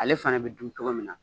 Ale fana bi dun togo min na